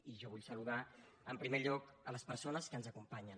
i jo vull saludar en primer lloc les persones que ens acompanyen